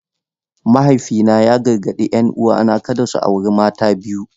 Mahaifina ya gargadi 'yan uwana kada su auri mata ta biyu.